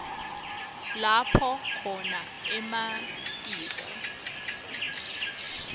lapho khona ematiko